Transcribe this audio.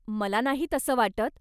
मला नाही तसं वाटत.